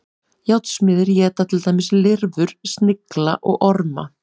Járnsmiðir éta til dæmis lirfur, snigla og orma.